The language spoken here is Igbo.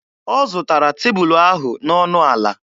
Ọ zụtara tebulu ahụ n'ọnụ ala.